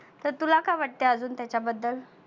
तर तुला काय वाटतं आजुन त्याच्या बद्दल?